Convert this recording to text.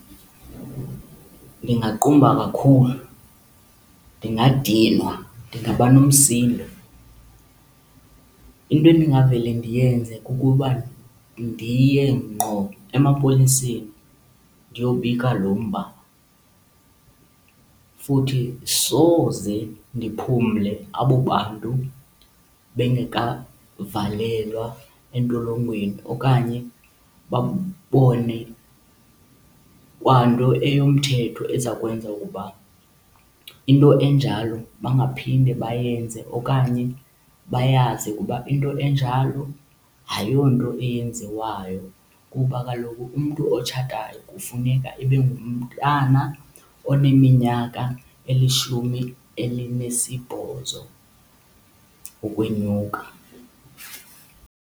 Ndingaqumba kakhulu, ndingadinwa, ndingaba nomsindo. Into endingavele ndiyenze kukuba ndiye ngqo emapoliseni ndiyobika lo mba. Futhi soze ndiphumle abo bantu bengekavalelwa entolongweni okanye babone kwa nto eyomthetho eza kwenza ukuba into enjalo bangaphinde bayenze, okanye bayazi ukuba into enjalo ayonto eyenziwayo. Kuba kaloku umntu otshatayo kufuneka ibe ngumntana oneminyaka elishumi elinesibhozo ukwenyuka.